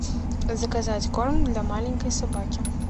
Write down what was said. заказать корм для маленькой собаки